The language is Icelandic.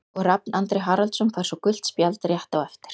Og Rafn Andri Haraldsson fær svo gult spjald rétt á eftir.